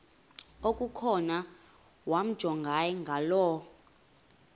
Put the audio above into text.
okukhona wamjongay ngaloo